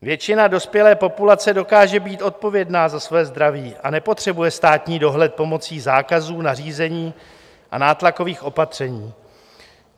Většina dospělé populace dokáže být odpovědná za svoje zdraví a nepotřebuje státní dohled pomocí zákazů, nařízení a nátlakových opatření.